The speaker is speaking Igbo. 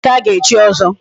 Ebee ka ga-echi ọzọ?